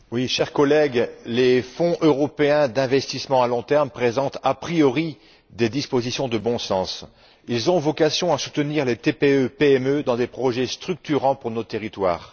Monsieur le Président, chers collègues, les fonds européens d'investissement à long terme présentent des dispositions de bon sens. Ils ont vocation à soutenir les TPE PME dans des projets structurants pour nos territoires.